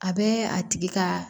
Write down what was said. A bɛ a tigi ka